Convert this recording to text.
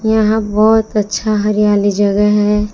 यहां बहोत अच्छा हरियाली जगह है।